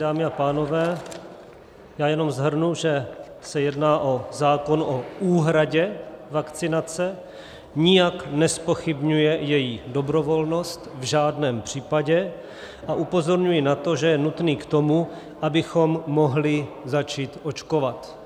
Dámy a pánové, já jenom shrnu, že se jedná o zákon o úhradě vakcinace, nijak nezpochybňuje její dobrovolnost v žádném případě, a upozorňuji na to, že je nutný k tomu, abychom mohli začít očkovat.